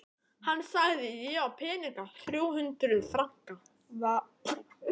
Hann sagði: Ég á peninga. þrjú hundruð franka